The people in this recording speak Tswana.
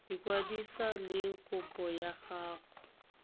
ikwadisa le kopo ya gago